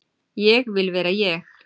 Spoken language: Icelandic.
Ég vil vera ég.